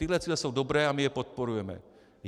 Tyhle cíle jsou dobré a my je podporujeme.